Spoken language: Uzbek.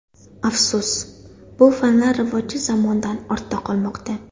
Afsus, bu fanlar rivoji zamondan ortda qolmoqda.